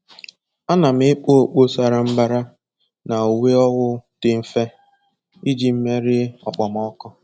Ana m ekpu okpu sara mbara na uwe owu dị mfe iji merie okpomọkụ.